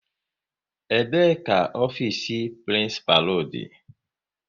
Ebee ka ofiisi prinsipalu dị?